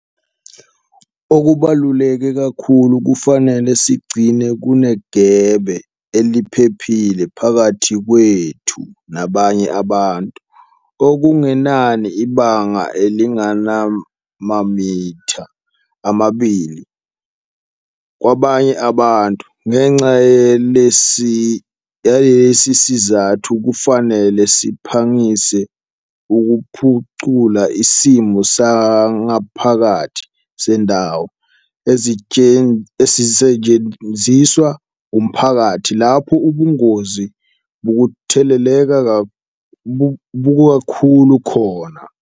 Okubaluleke kakhulu, kufanele sigcine kunegebe eliphephile phakathi kwethu nabanye abantu - okungenani ibanga elingamamitha amabili - kwabanye abantu. Ngenxa yalesi sizathu kufanele siphangise ukuphucula isimo sangaphakathi sezindawo ezisetshenziswa umphakathi lapho ubungozi bokutheleleka bubukhulu kakhulu khona.